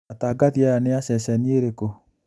Atangathi aya nĩ a ceceni ĩrĩkũ